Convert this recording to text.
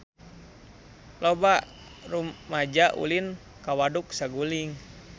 Loba rumaja ulin ka Waduk Saguling